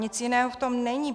Nic jiného v tom není.